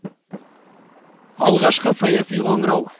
алғашқы саяси қоңырау